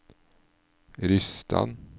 Rysstad